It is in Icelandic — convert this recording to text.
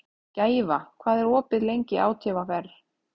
Gæfa, hvað er opið lengi í ÁTVR?